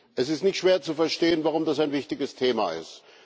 Es ist nicht schwer zu verstehen, warum das ein wichtiges Thema ist.